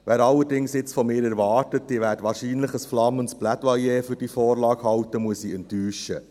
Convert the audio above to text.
Wer allerdings jetzt von mir erwartet, dass ich wahrscheinlich ein flammendes Plädoyer für diese Vorlage halte, den muss ich enttäuschen.